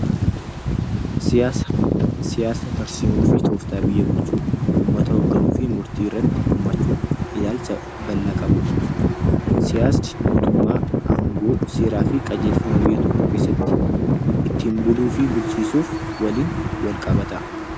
Siyaasa, tarsiimoo fi tooftaa biyya bulchuu, uummata hoogganuu fi murtii irratti hirmaachuun ilaalcha bal'aa qabudha. Siyaasni mootummaa, aangoo, seeraa fi qajeelfama biyya tokkoo keessatti ittiin buluu fi bulchiisuuf waliin wal qabata.